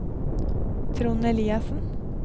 Trond Eliassen